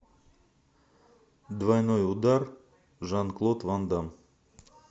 двойной удар жан клод ван дам